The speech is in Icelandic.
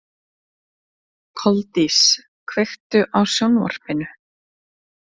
Koldís, kveiktu á sjónvarpinu.